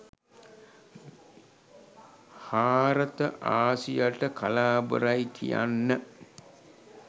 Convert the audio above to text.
හාරත ආසියට කලාබරයි කියන්න